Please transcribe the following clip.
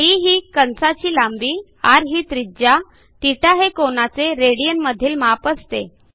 D ही कंसाची लांबी rही त्रिज्या θहे कोनाचे रेडियन मधील माप असते